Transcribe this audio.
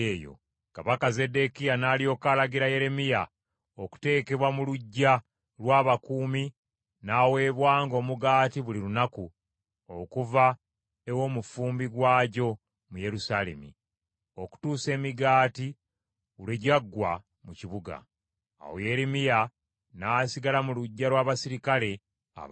Kabaka Zeddekiya n’alyoka alagira Yeremiya okuteekebwa mu luggya lw’abakuumi n’aweebwanga omugaati buli lunaku okuva ew’omufumbi waagyo mu Yerusaalemi, okutuusa emigaati lwe gyaggwa mu kibuga. Awo Yeremiya n’asigala mu luggya lw’abaserikale abakuumi.